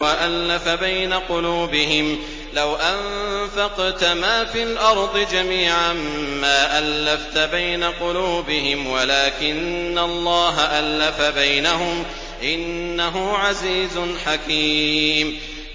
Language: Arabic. وَأَلَّفَ بَيْنَ قُلُوبِهِمْ ۚ لَوْ أَنفَقْتَ مَا فِي الْأَرْضِ جَمِيعًا مَّا أَلَّفْتَ بَيْنَ قُلُوبِهِمْ وَلَٰكِنَّ اللَّهَ أَلَّفَ بَيْنَهُمْ ۚ إِنَّهُ عَزِيزٌ حَكِيمٌ